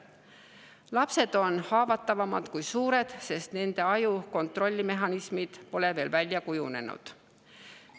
Lapsed on haavatavamad kui suured, sest nende aju kontrollimehhanismid pole veel välja kujunenud.